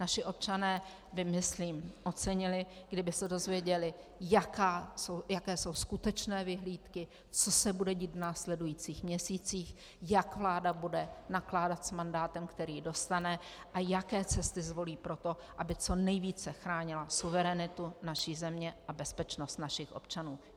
Naši občané by myslím ocenili, kdyby se dozvěděli, jaké jsou skutečné vyhlídky, co se bude dít v následujících měsících, jak vláda bude nakládat s mandátem, který dostane a jaké cesty zvolí pro to, aby co nejvíce chránila suverenitu naší země a bezpečnost našich občanů.